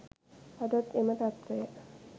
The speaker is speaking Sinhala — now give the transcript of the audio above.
අදත් එම තත්වය